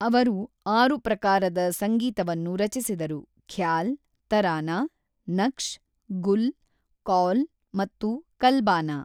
ಅವರು ಆರು ಪ್ರಕಾರದ ಸಂಗೀತವನ್ನು ರಚಿಸಿದರು: ಖ್ಯಾಲ್, ತರಾನಾ, ನಕ್ಷ್, ಗುಲ್, ಕೌಲ್ ಮತ್ತು ಕಲ್ಬಾನಾ.